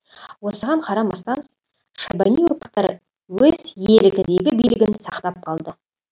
осыған қарамастан шайбани ұрпақтары өз иелігіндегі билігін сақтап қалды